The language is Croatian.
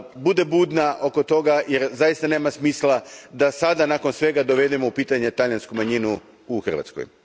da bude budna oko toga jer zaista nema smisla da sada, nakon svega, dovedemo u pitanje talijansku manjinu u Hrvatskoj.